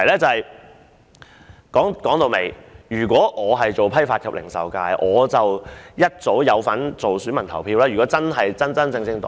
說到底，如果我能成為批發及零售界的候選人，我應是該界別的選民。